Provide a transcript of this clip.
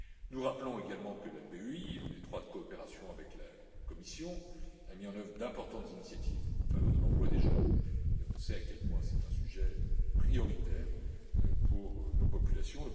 Nous rappelons également que la BEI, en étroite coopération avec la Commission, a mis en œuvre d'importantes initiatives en faveur de l'emploi des jeunes et on sait à quel point c'est un sujet prioritaire pour nos populations.